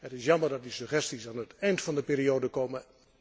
Het is jammer dat die suggesties aan het einde van de periode komen.